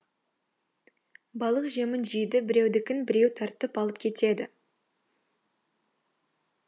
балық жемін жейді біреудікін біреу тартып алып кетеді